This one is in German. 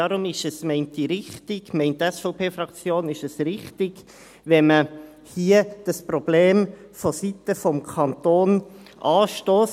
Daher ist es – meint die SVP-Fraktion – richtig, wenn man dieses Problem hier vonseiten des Kantons anstösst.